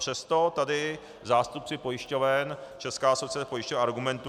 Přesto tady zástupci pojišťoven, Česká asociace pojišťoven argumentuje -